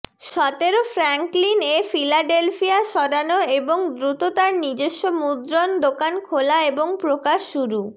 সতেরো ফ্র্যাংকলিন এ ফিলাডেলফিয়া সরানো এবং দ্রুত তার নিজস্ব মুদ্রণ দোকান খোলা এবং প্রকাশ শুরু